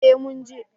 Eh mun je